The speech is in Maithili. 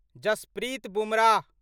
जसप्रीत बुमराह